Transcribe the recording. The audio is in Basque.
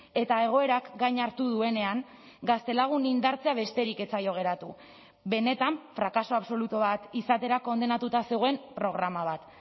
eta egoerak gain hartu duenean gaztelagun indartzea besterik ez zaio geratu benetan frakaso absolutu bat izatera kondenatuta zegoen programa bat